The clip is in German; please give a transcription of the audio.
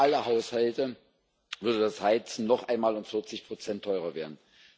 Für alle Haushalte würde das Heizen noch einmal um vierzig Prozent teurer werden.